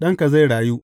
Ɗanka zai rayu.